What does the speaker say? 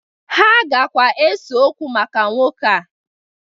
Ha gakwa ese okwu maka nwoke a